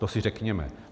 To si řekněme.